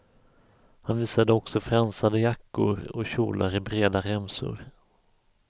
Han visade också fransade jackor och kjolar i breda remsor.